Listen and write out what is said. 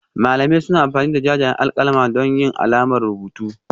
Malamai suna amfani da jajayen alƙalami don yin alamar rubutu